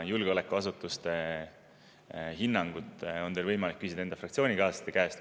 Julgeolekuasutuste hinnangut on teil võimalik küsida enda fraktsioonikaaslaste käest.